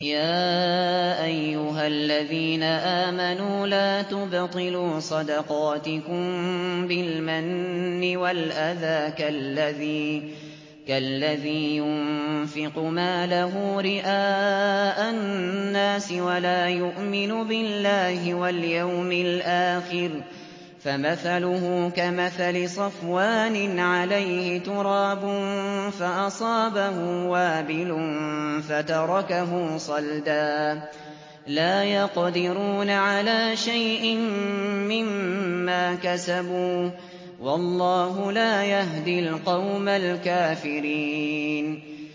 يَا أَيُّهَا الَّذِينَ آمَنُوا لَا تُبْطِلُوا صَدَقَاتِكُم بِالْمَنِّ وَالْأَذَىٰ كَالَّذِي يُنفِقُ مَالَهُ رِئَاءَ النَّاسِ وَلَا يُؤْمِنُ بِاللَّهِ وَالْيَوْمِ الْآخِرِ ۖ فَمَثَلُهُ كَمَثَلِ صَفْوَانٍ عَلَيْهِ تُرَابٌ فَأَصَابَهُ وَابِلٌ فَتَرَكَهُ صَلْدًا ۖ لَّا يَقْدِرُونَ عَلَىٰ شَيْءٍ مِّمَّا كَسَبُوا ۗ وَاللَّهُ لَا يَهْدِي الْقَوْمَ الْكَافِرِينَ